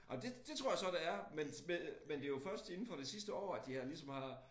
Ej men det det tror jeg så der er men men men det jo først inden for det sidste år at de har ligesom har